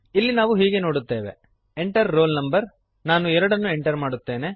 ಇಲ್ಲಿ ನಾವು ಹೀಗೆ ನೋಡುತ್ತೇವೆ Enter ರೋಲ್ no ನಾನು 2 ನ್ನು ಎಂಟರ್ ಮಾಡುತ್ತೇನೆ